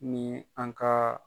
Ni an ka